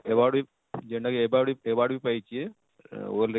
ଏବାଡି ଜେନ ଟା କି award ବି ପାଇଛେ award ଅଲେଖ